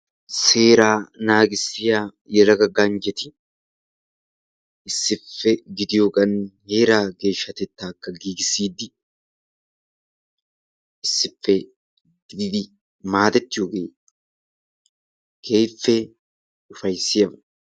Seeraa naagissiya yelaga ganjjeeti issippe gididiyogan heeraa geshshatettakka giggissiidi issippe gididi maadettiyoogee keehippe ufayssiyaba.